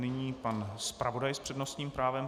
Nyní pan zpravodaj s přednostním právem.